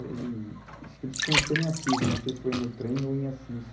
Aí acho que eles se conheceram em Assis, eu não sei se foi no trem ou em Assis.